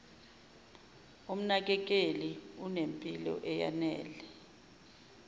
umnakekeli unempilo eyanele